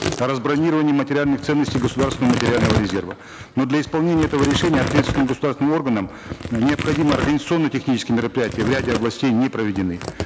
о разбронировании материальных ценностей государственного материального резерва но для исполнения этого решения ответственным государственным органом необходимые организационно технические мероприятия в ряде областей не проведены